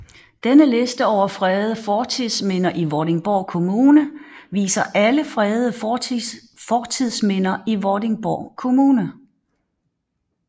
Denne liste over fredede fortidsminder i Vordingborg Kommune viser alle fredede fortidsminder i Vordingborg Kommune